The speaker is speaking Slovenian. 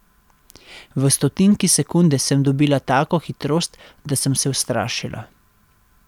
V stotinki sekunde sem dobila tako hitrost, da sem se ustrašila.